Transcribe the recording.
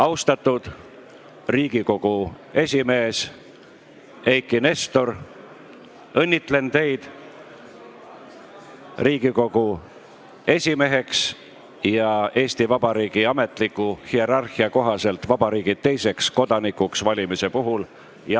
" Austatud Riigikogu esimees Eiki Nestor, õnnitlen teid Riigikogu esimeheks ja Eesti Vabariigi ametliku hierarhia kohaselt vabariigi teiseks kodanikuks valimise puhul!